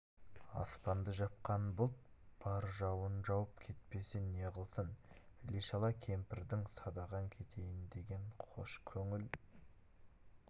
аспанды жапқан бұлт бар жауын жауып кетпесе неғылсын іле-шала кемпірдің садағаң кетейін деген қош көңіл